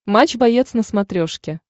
матч боец на смотрешке